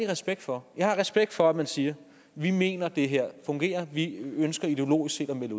respekt for jeg har respekt for at man siger vi mener at det her fungerer og vi ønsker ideologisk set at melde